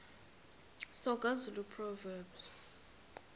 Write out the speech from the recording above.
soga zulu proverbs